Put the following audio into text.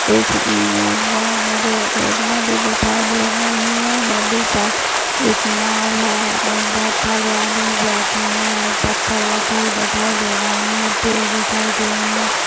इस इमेज में मुझे एक नदी दिखाई दे रही है नदी पर एक नाव है और बहुत सारे आदमी बैठे हुए हैं और पत्थर रखे हुए दिखाई रहे हैं। पेड दिखाई दे रहे हैं।